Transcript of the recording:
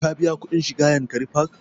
Ka biya kuɗin shiga yankari park?